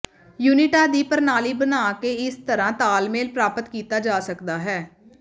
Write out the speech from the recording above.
ਯੂਨਿਟਾਂ ਦੀ ਪ੍ਰਣਾਲੀ ਬਣਾ ਕੇ ਇਸ ਤਰ੍ਹਾਂ ਤਾਲਮੇਲ ਪ੍ਰਾਪਤ ਕੀਤਾ ਜਾ ਸਕਦਾ ਹੈ